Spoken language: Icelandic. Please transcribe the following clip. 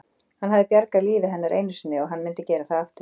Hann hafði bjargað lífi hennar einu sinni og hann myndi gera það aftur.